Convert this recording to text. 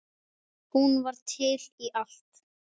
Hún var til í allt.